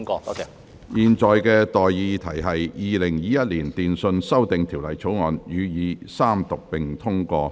我現在向各位提出的待議議題是：《2021年電訊條例草案》予以三讀並通過。